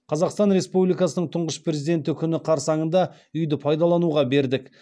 қазақстан республикасының тұңғыш президенті күні қарсаңында үи ді паи далануға бердік